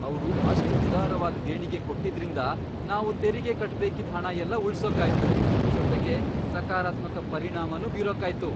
ಅವ್ರು ಅಷ್ಟ್ ಉದಾರವಾಗ್ ದೇಣಿಗೆ ಕೊಟ್ಟಿದ್ರಿಂದ, ನಾವು ತೆರಿಗೆ ಕಟ್ಬೇಕಿದ್ ಹಣ ಎಲ್ಲ ಉಳ್ಸೋಕಾಯ್ತು, ಜೊತೆಗೆ ಸಕಾರಾತ್ಮಕ ಪರಿಣಾಮನೂ ಬೀರೋಕಾಯ್ತು.